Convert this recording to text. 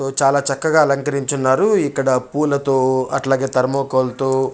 ఓ చాల చక్కగా అలకంకరించి ఉన్నారు ఇక్కడ పూల తో అట్లాగే థెర్మోకోల్ తో --